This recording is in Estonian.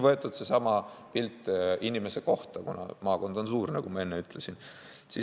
Võtame nüüd sellesama pildi inimese kohta, kuna maakond on suur, nagu ma enne ütlesin.